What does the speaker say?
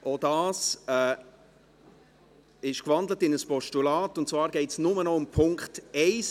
Auch dieses wurde in ein Postulat gewandelt, und zwar geht es nur noch um den Punkt 1;